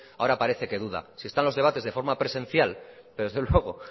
ahora parece que duda si está en los debates de forma presencial y desde luego